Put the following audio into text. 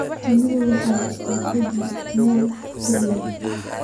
Shinnida waxaa la dhigaa meelo dhir leh.